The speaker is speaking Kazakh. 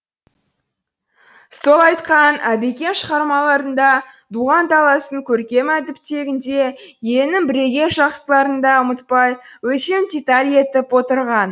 сол айтқан әбекең шығармаларында туған даласын көркем әдіптегенде елінің бірегей жақсыларын да ұмытпай өлшем деталь етіп отырған